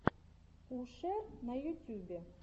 пушер на ютюбе